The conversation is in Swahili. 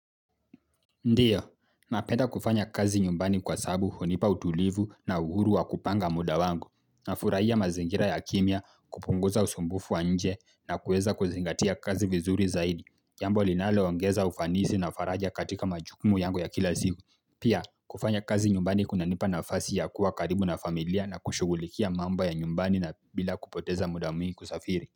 Ndiyo, nawewa kufanya kazi nyumbani kwa sababu hunipa utulivu na uhuru wa kupanga muda wangu, nafurahia mazingira ya kimnya kupunguza usumbufu wa nje na kuweza kuzingatia kazi vizuri zaidi, jambo linalo ongeza ufanisi na faraja katika majukumu yangu ya kila siku, pia kufanya kazi nyumbani kunanipa nafasi ya kuwa karibu na familia na kushugulikia mambo ya nyumbani na bila kupoteza muda mwingi kusafiri.